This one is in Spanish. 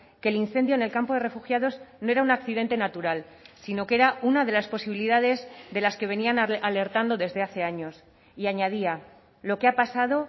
que el incendio en el campo de refugiados no era un accidente natural sino que era una de las posibilidades de las que venían alertando desde hace años y añadía lo que ha pasado